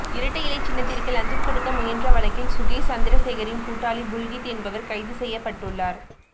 இரட்டை இலை சின்னத்திற்கு லஞ்சம் கொடுக்க முயன்ற வழக்கில் சுகேஷ் சந்திரசேகரின் கூட்டாளி புல்கித் என்பவர் கைது செய்யபட்டுள்ளார்